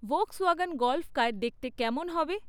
Volkswagen Golf car দেখতে কেমন হবে?